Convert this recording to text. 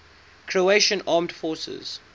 croatian armed forces